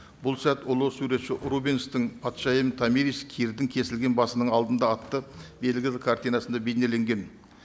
бұл сәт ұлы суретші рубенстің патшайым томирис кирдің кесілген басының алдында атты белгілі картинасында бейнеленген